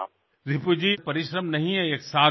রিপুজি এটা পরিশ্রমের বিষয় নয় একরকম সাধনা